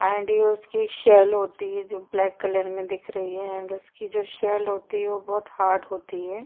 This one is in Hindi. उसकी सेल होती है जो ब्लैक कलर में दिख रही है एण्ड उसकी जो सेल होती है वह बहुत हार्ड होती है।